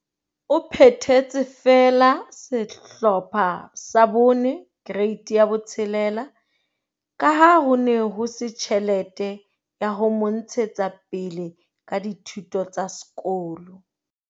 O phethetse feela Sehlopha sa 4, Kereiti ya 6, ka ha ho ne ho se tjhelete ya ho mo ntshetsa pele ka dithuto tsa sekolo.